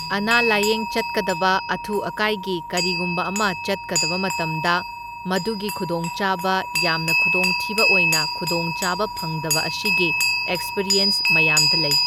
ꯑꯅꯥ ꯂꯥꯢꯌꯦꯡ ꯆꯠꯀꯗꯕ ꯑꯊꯨ ꯑꯀꯥꯏꯒꯤ ꯀꯔꯤꯒꯨꯝꯕ ꯑꯃ ꯆꯠꯀꯗꯕ ꯃꯇꯝꯗ ꯃꯗꯨꯒꯤ ꯈꯨꯗꯣꯡꯆꯥꯕ, ꯌꯥꯝꯅ ꯈꯨꯗꯣꯡꯊꯤꯕ ꯑꯣꯏꯅ ꯈꯨꯗꯣꯡꯆꯥꯕ ꯐꯪꯗꯕ ꯑꯁꯤꯒꯤ ꯑꯦꯛꯁꯄꯤꯔꯤꯌꯟꯁ ꯃꯌꯥꯝꯗ ꯂꯩ꯫